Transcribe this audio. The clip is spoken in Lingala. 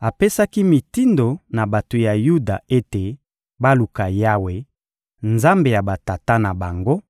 Apesaki mitindo na bato ya Yuda ete baluka Yawe, Nzambe ya batata na bango,